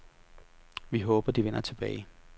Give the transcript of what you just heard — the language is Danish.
Vi håber, de vender tilbage.